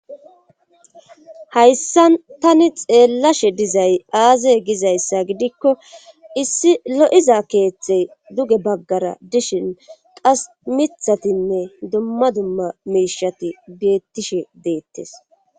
Hayssan tani xeellashe dizay aaze gizayssa gidikko issi lo7iza keethe duge baggara dishin qas mithatinne dumma dumma miishshati beettishe deettes.